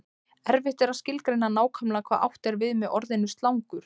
Erfitt er að skilgreina nákvæmlega hvað átt er við með orðinu slangur.